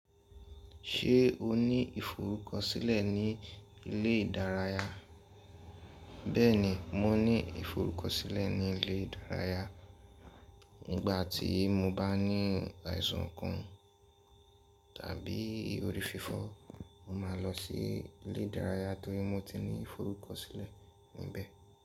Ṣé o ní ìforúkọ̀sílẹ̀ ní ilé ìdárayá? Bẹ́ẹ̀ni, mo ní ìforúkọ̀sílẹ̀ ní ilé ìdárayá. Nígbà tí mo bá ní àìsàn kan tàbí ori fífo, mo máa lọ sí ilé ìdárayá torí mo ti ní ìforúkọ̀sílẹ̀ níbẹ̀